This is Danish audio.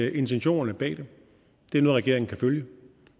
at intentionerne bag det er noget regeringen kan følge